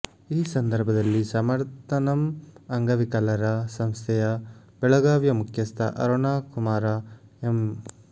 ಈ ಸಂದರ್ಭದಲ್ಲಿ ಸಮರ್ಥನಂ ಅಂಗವಿಕಲರ ಸಂಸ್ಥೆಯ ಬೆಳಗಾವಿಯ ಮುಖ್ಯಸ್ಥ ಅರುಣಕುಮಾರ ಎಂ